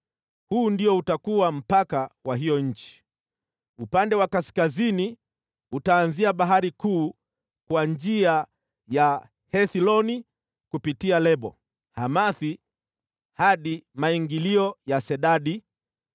“Huu ndio utakuwa mpaka wa hiyo nchi: “Upande wa kaskazini utaanzia Bahari Kuu kwa njia ya Hethloni kupitia Lebo-Hamathi hadi maingilio ya Sedadi.